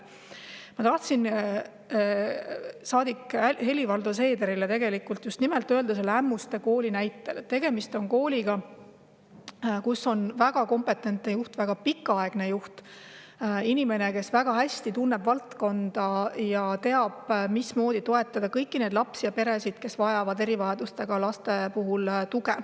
Ma tahtsin saadik Helir-Valdor Seedrile just nimelt selle Ämmuste Kooli näitel öelda seda, et tegemist on kooliga, kus on väga kompetentne juht, väga pikaaegne juht, inimene, kes väga hästi tunneb valdkonda ja teab, mismoodi toetada kõiki lapsi ja erivajadustega laste peresid, kes vajavad tuge.